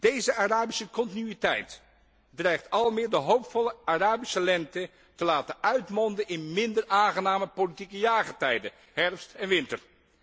Deze Arabische continuïteit dreigt almaar meer de hoopvolle Arabische lente te laten uitmonden in minder aangename politieke jaargetijden, herfst en winter.